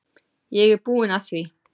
Ég er búinn að því.